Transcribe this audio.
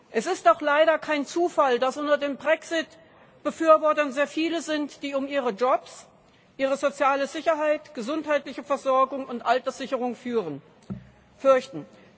Es ist doch leider kein Zufall, dass unter den Brexit Befürwortern sehr viele sind, die um ihre Jobs, ihre soziale Sicherheit, ihre gesundheitliche Versorgung und ihre Alterssicherung fürchten.